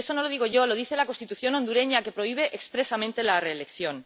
Y eso no lo digo yo, lo dice la Constitución hondureña, que prohíbe expresamente la reelección.